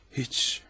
Heç.